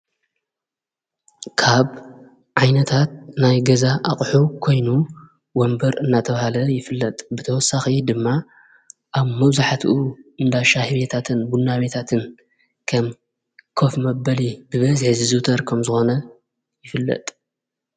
ካብ ዓይነታት ናይ ገዛ ኣቕሑ ኮይኑ ወንበር እናተብሃለ ይፍለጥ ብተወሳኽ ድማ ኣብ መዙኃትኡ እንዳ ሻሂቤታትብናቤታትን ከም ከፍ ሚ ኣበሊ ብበዝሕዝዙተር ከም ዝኾነ ይፍለጥ።